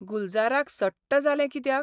गुलजाराक सट्ट जालें कित्याक?